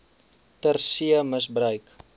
ter see misbruik